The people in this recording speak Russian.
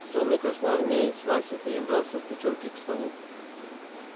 сонный красноармеец вася перебрался от печурки к столу